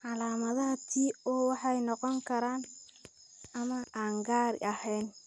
Calaamadaha tracheobronchopathia osteoplastica (TO) waxay noqon karaan kuwo maqan ama aan gaar ahayn.